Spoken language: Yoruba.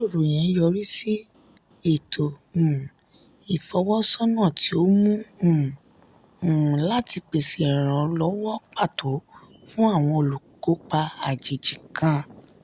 ìjíròrò yẹn yọrí sí ètò um ìfọwọ́sọ́nà tí ó mú um un láti pèsè ìrànlọ́wọ́ pàtó fún àwọn olùkópa àjèjì kan.